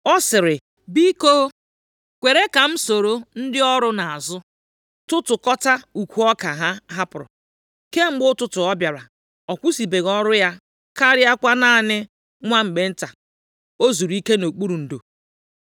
Ọ sịrị, ‘Biko kwere ka m soro ndị ọrụ nʼazụ tụtụkọtaa ukwu ọka ha hapụrụ.’ Kemgbe ụtụtụ ọ bịara, ọ kwụsịbeghị ọrụ ya karịakwa naanị nwa mgbe nta o zuru ike nʼokpuru ndo.”